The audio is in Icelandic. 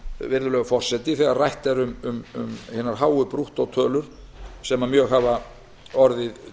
virðulegur forseti þegar rætt er um hinar háu brúttótölur sem mjög hafa orðið